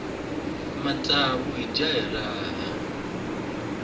matsavu hi dya hi raha